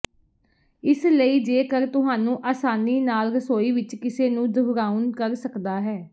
ਇਸ ਲਈ ਜੇਕਰ ਤੁਹਾਨੂੰ ਆਸਾਨੀ ਨਾਲ ਰਸੋਈ ਵਿੱਚ ਕਿਸੇ ਨੂੰ ਦੁਹਰਾਉਣ ਕਰ ਸਕਦਾ ਹੈ